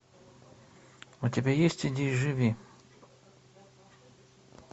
у тебя есть иди и живи